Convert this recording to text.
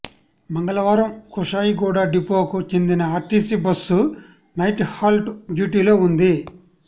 మంగళవారం కుషాయిగూడ డిపోకు చెందిన ఆర్టీసీ బస్సు నైట్ హాల్ట్ డ్యూటీలో ఉంది